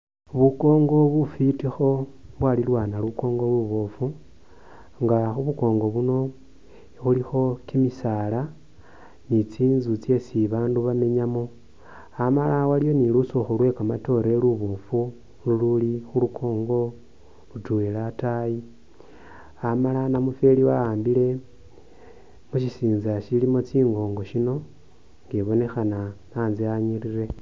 Khubu Kongo bufitikho bwalilwana lukongo lubofu nga khubu kongo buno khulikho kimisala ni tsinzu tsesi babandu bamenyamo amala waliwo ni lusikhu lwe kamatore lubofu luli khulukongo litwela atayi amala namufweli awambile mushisintsa shilimo tsi’ngongo shino nga ibonekhana antsa anyirire .